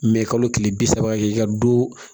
kalo tile bi saba kɛ i ka du